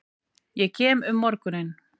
Ég kem um morguninn.